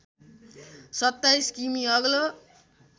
२७ किमि अग्लो